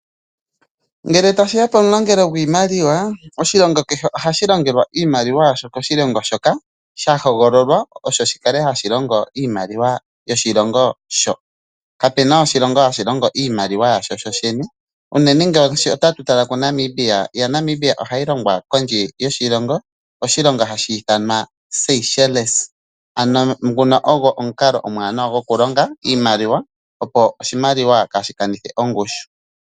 Ngele tashi ya pomulongelo gwiimaliwa omulongelo keshe ohashi longelwa iimaliwa yasho koshilongo shoka sha hogololwa osho shi kale hashi longo iimaliwa yoshilongo sho po kapena oshilongo hashi longo iimaliwa yasho shoshene uunena nge otatu tala kuNamibia , iimaliwa ya Namibia ohayi longwa kondje yoshilongo oshilongo hashi ithanwa Sychelles ano nguno ogwo omukalo omwaanawa goku longa iimaliwa opo oshimaliwa kaashi kanithe ongushu.